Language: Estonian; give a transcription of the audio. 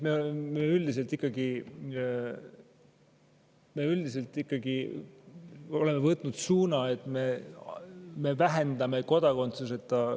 Me üldiselt ikkagi oleme võtnud suuna, et me vähendame kodakondsuseta …